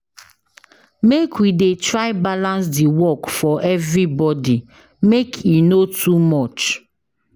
Make we dey try balance di work for everybodi, make e no too much.